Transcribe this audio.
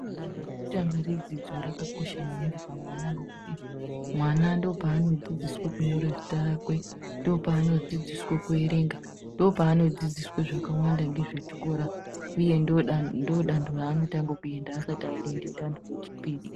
Dando redzidzo yekutanga rakakosha maningi pamwana ngokuti mwana ndopano dzidziswe kunyore zita rakwe, ndopano dzidziswe kuerenga, ndopano dzidziswe zvakawanda ngezvechikora uye ndiro dando raanotange kuenda asati aenda dando rechipiri.